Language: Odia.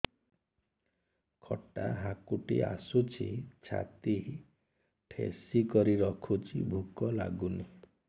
ଖଟା ହାକୁଟି ଆସୁଛି ଛାତି ଠେସିକରି ରଖୁଛି ଭୁକ ଲାଗୁନି